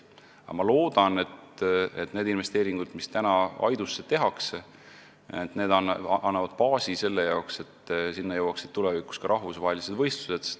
Aga ma loodan, et need investeeringud, mis Aidusse tehakse, annavad selle baasi, et sinna jõuaksid tulevikus ka rahvusvahelised võistlused.